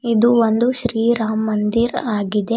ಇದು ಒಂದು ಶ್ರೀ ರಾಮ್ ಮಂದಿರ್ ಆಗಿದೆ.